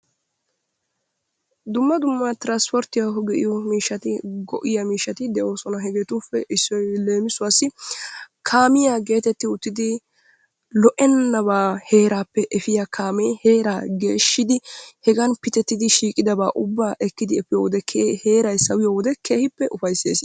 Dumma dumma tiransipporttiyawu go'iya miishshati de'oosona. Hegeetuppe issoy leem, kaamiya geetettiwuttidi lo'ennabaa heeraappe efiya kaamee heeraa geeshshidi hegan pitettidi giigidaba ekkidi efiyo wode heeray pitettidi sawiyo wode keehippe ufayssees.